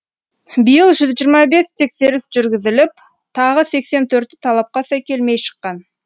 биыл жүз жиырма бес тексеріс жүргізіліп тағы сексен төрті талапқа сай келмей шыққан